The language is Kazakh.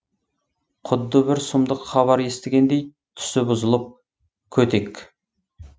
құдды бір сұмдық хабар естігендей түсі бұзылып көтек